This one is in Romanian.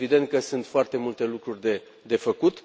Este evident că sunt foarte multe lucruri de făcut.